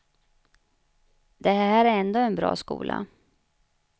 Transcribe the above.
Det här är ändå en bra skola.